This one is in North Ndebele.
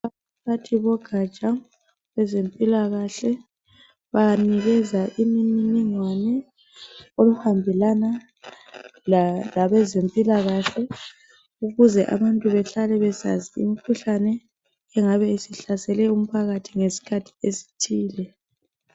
Abaphathi bogatsha lwezempilakahle banikeza imniningwane okuhambelana labezempilakahle ukuze abantu behlale besazi imkhuhlane engabe isihlasele umphakathi ngesikhathi esithile